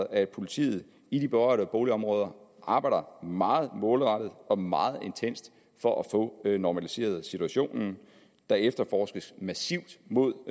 at politiet i de berørte boligområder arbejder meget målrettet og meget intenst for at få normaliseret situationen der efterforskes massivt mod